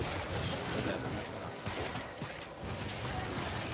Det är det som är finessen.